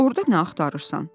Orda nə axtarırsan?